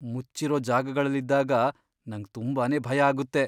ಮುಚ್ಚಿರೋ ಜಾಗಗಳಲ್ಲಿದ್ದಾಗ ನಂಗ್ ತುಂಬಾನೇ ಭಯ ಆಗುತ್ತೆ.